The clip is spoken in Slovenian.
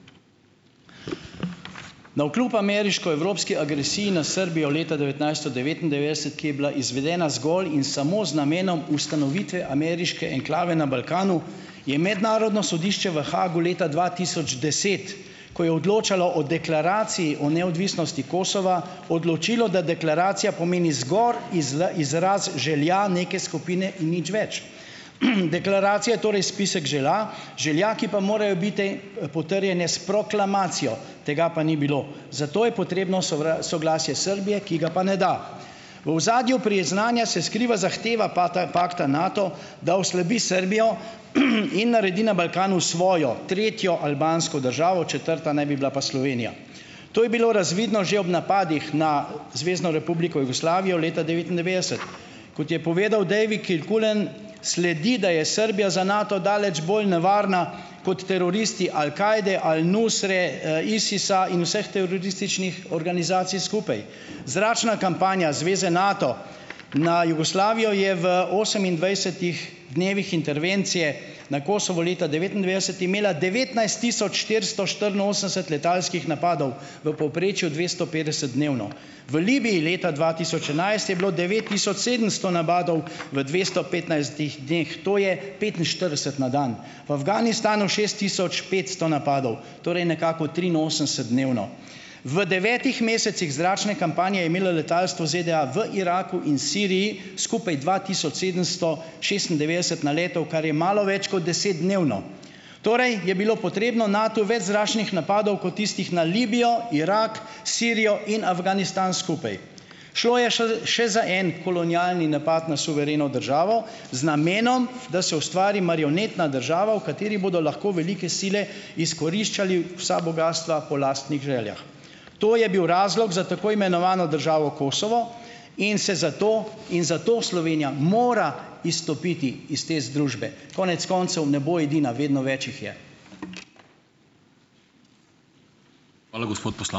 Navkljub ameriško-evropski agresiji na Srbijo leta devetnajststo devetindevetdeset, ki je bila izvedena zgolj in samo z namenom ustanovitve ameriške enklave na Balkanu, je Mednarodno sodišče v Haagu leta dva tisoč deset, ko je odločalo o Deklaraciji o neodvisnosti Kosova, odločilo, da Deklaracija pomeni zgoraj izraz želja neke skupine in nič več. deklaracija je torej spisek želja, ki pa morajo biti, potrjene s proklamacijo. Tega pa ni bilo. Zato je potrebno soglasje Srbije, ki ga pa ne da. V ozadju priznanja se skriva zahteva pakta Nato, da oslabi Srbijo, in naredi na Balkanu svojo, tretjo albansko državo, četrta pa naj bi bila Slovenija. To je bilo razvidno že ob napadih na Zvezno republiko Jugoslavijo leta devetindevetdeset. Kot je povedal David Kilcullen, sledi, da je Srbija za Nato daleč bolj nevarna, kot teroristi Al Kajde, Al Nusre, Isisa in vseh terorističnih organizacij skupaj. Zračna kampanja zveze Nato na Jugoslavijo je v osemindvajsetih dnevih intervencije na Kosovo leta devetindevetdeset imela devetnajst tisoč štiristo štiriinosemdeset letalskih napadov, v povprečju dvesto petdeset dnevno. V Libiji leta dva tisoč enajst je bilo devet tisoč sedemsto napadov v dvesto petnajstih dneh. To je petinštirideset na dan. V Afganistanu šest tisoč petsto napadov, torej nekako triinosemdeset dnevno. V devetih mesecih zračne kampanje je imelo letalstvo ZDA v Iraku in Siriji skupaj dva tisoč sedemsto šestindevetdeset na letov, kar je malo več kot deset dnevno. Torej je bilo potrebno Natu več zračnih napadov, kot tistih na Libijo, Irak, Sirijo in Afganistan skupaj. Šlo je še za en kolonialni napad na suvereno državo z namenom, da se ustvari marionetna država, v kateri bodo lahko velike sile izkoriščale vsa bogastva po lastnih željah. To je bil razlog za tako imenovano državo Kosovo in se zato, in zato Slovenija mora izstopiti iz te združbe. Konec koncev ne bo edina, vedno več jih je. Hvala, gospod ...